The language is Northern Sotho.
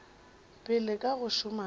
pele ka go šoma ka